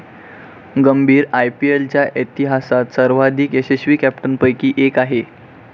गंभीर आयपीएलच्या इतिहासात सर्वांधिक यशस्वी कॅप्टनपैकी एक आहे.